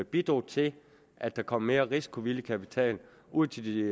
bidrog til at der kom mere risikovillig kapital ud til de